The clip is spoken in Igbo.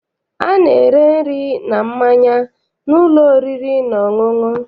A na-ere nri na mmanya n'ụlọ oriri na ọṅụṅụ.